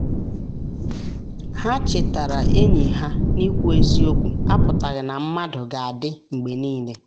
ha chetara enyi ha na ikwu eziokwu apụtaghị na mmadụ ga-adị mgbe niile.